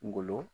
Ngolo